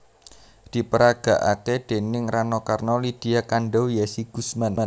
Diperagakake déning Rano Karno Lydia Kandow Yessy Guzman